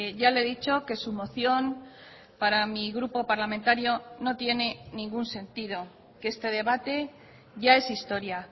ya le he dicho que su moción para mi grupo parlamentario no tiene ningún sentido que este debate ya es historia